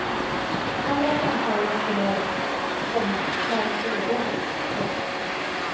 Alla samtal refererades, komma närmast ordagrant. punkt